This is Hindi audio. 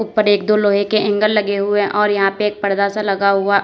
ऊपर एक दो लोहे के एंगल लगे हुए और यहां पे एक पर्दा सा लगा हुआ --